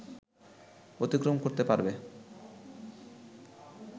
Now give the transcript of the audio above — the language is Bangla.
অতিক্রম করতে পারবে